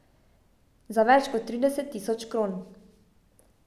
Za več kot trideset tisoč kron.